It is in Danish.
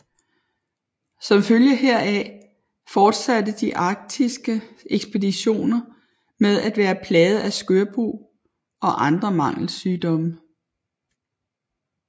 Som følge heraf fortsatte de arktiske ekspeditioner med at være plaget af skørbug og andre mangelsygdomme